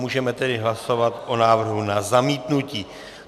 Můžeme tedy hlasovat o návrhu na zamítnutí.